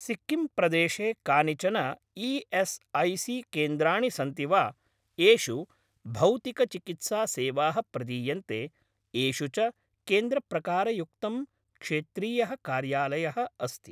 सिक्किम् प्रदेशे कानिचन ई.एस्.ऐ.सी.केन्द्राणि सन्ति वा येषु भौतिकचिकित्सा सेवाः प्रदीयन्ते, येषु च केन्द्रप्रकारयुक्तं क्षेत्रीयः कार्यालयः अस्ति?